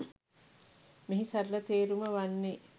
මෙහි සරල තේරුම වන්නේ